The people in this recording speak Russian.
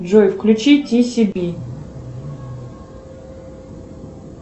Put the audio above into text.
джой включи ти си би